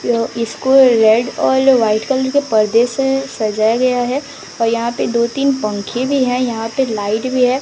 यह school red औल white colour के परदे से सजाया गया है और यहां पे दो तीन पंखे भी हैं यहां पे लाइट भी है।